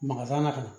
Maka san ka na